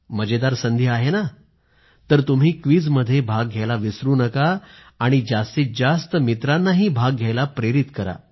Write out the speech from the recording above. मजेदार संधी आहे ना तर तुम्ही क्विझमध्ये भाग घ्यायला विसरू नका आणि जास्तीत जास्त मित्रांना भाग घ्यायला प्रेरित करा